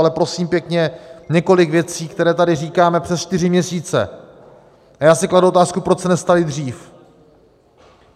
Ale prosím pěkně, několik věcí, které tady říkáme přes čtyři měsíce, a já si kladu otázku, proč se nestaly dřív.